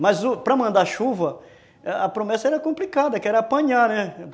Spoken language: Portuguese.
Mas, u, para mandar chuva, a promessa era complicada, que era apanhar, né?